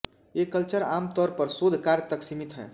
ये कल्चर आम तौर पर शोध कार्य तक सीमित हैं